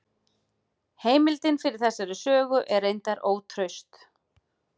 Heimildin fyrir þessari sögu er reyndar ótraust.